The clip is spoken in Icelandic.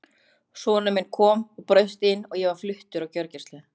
Sonur minn kom og braust inn og ég var flutt á gjörgæslu.